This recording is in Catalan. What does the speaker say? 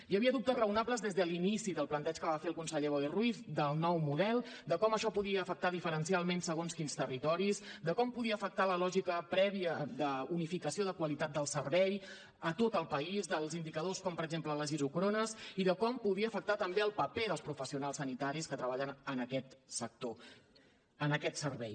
hi havia dubtes raonables des de l’inici del planteig que va fer el conseller boi ruiz del nou model de com això podia afectar diferencialment segons quins territoris de com podia afectar la lògica prèvia d’unificació de qualitat del servei a tot el país dels indicadors com per exemple les isòcrones i de com podia afectar també el paper dels professionals sanitaris que treballen en aquest sector en aquest servei